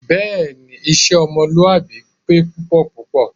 Bẹ́ẹ̀ni. Iṣẹ́ ọmọlúwàbí pé púpọ̀púpọ̀